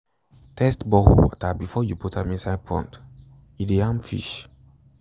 test borehole water for iron before you put am inside pond e de harm fish